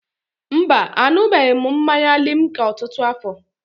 Mba, aṅụbeghị m mmanya limca ọtụtụ afọ.